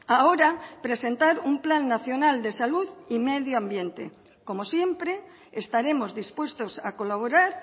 ahora presentar un plan nacional de salud y medio ambiente como siempre estaremos dispuestos a colaborar